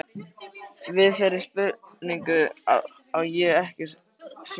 Við þeirri spurningu á ég ekkert svar.